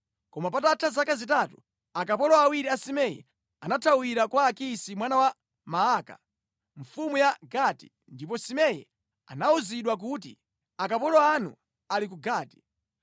Koma patatha zaka zitatu, akapolo awiri a Simei anathawira kwa Akisi mwana wa Maaka, mfumu ya ku Gati, ndipo Simei anawuzidwa kuti, “Akapolo anu ali ku Gati.”